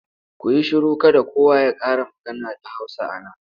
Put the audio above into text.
Ku yi shiru! Kada kowa ya ƙara magana da Hausa a nan.